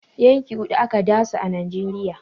Yanki huɗu ake dasu a Najeriya.